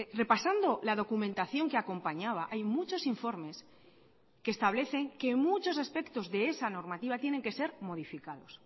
repasando la documentación que acompañaba hay muchos informes que establecen que muchos aspectos de esa normativa tienen que ser modificados